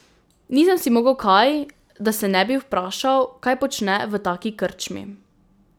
Nisem si mogel kaj, da se ne bi vprašal, kaj počne v taki krčmi.